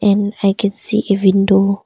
And I can see a window.